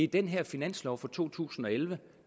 den her finanslov for to tusind og elleve